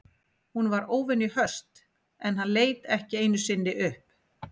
Hún var óvenju höst en hann leit ekki einu sinni upp.